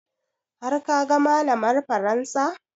Har ka ga malamar faransa?